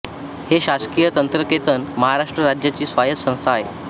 हे शासकीय तंत्रनिकेतन महाराष्ट्र राज्याची स्वायत संस्था आहे